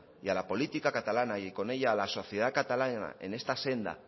y a la política catalana y con ella a la sociedad catalana en esta senda